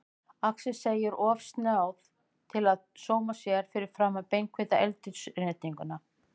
Axel segir of snjáð til að sóma sér framan á beinhvítri eldhúsinnréttingunni.